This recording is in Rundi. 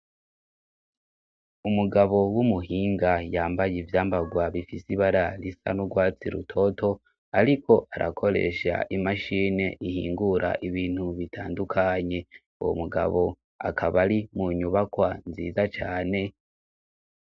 Umugabo w'umuhinga yambaye ivyambarwa bifise ibararisa n'urwatsi rutoto, ariko arakoresha imashine ihingura ibintu bitandukanye, uwo mugabo akabari mu nyubakwa nziza cane.